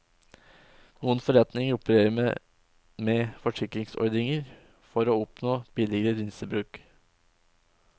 Noen forretninger opererer med med forsikringsordninger for å oppnå billigere linsebruk.